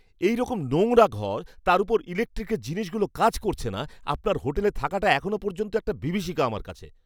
এইরকম নোংরা ঘর তার ওপর ইলেকট্রিকের জিনিসগুলো কাজ করছে না, আপনার হোটেলে থাকাটা এখনও পর্যন্ত একটা বিভীষিকা আমার কাছে!